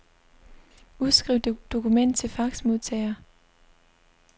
Udskriv dokument til faxmodtager.